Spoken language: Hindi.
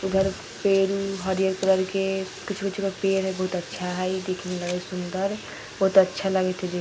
उधर पेड़-उड़ हरियर कलर के कुछु-कुछु का पेड़ हय बहुत अच्छा हय इ देखे मे लगय हय सुन्दर बहुत अच्छा लागय हय देखे में |